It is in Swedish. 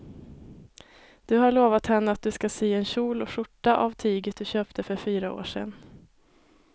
Du har lovat henne att du ska sy en kjol och skjorta av tyget du köpte för fyra år sedan.